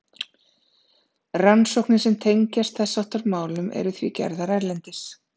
Rannsóknir sem tengjast þess háttar málum eru því gerðar erlendis.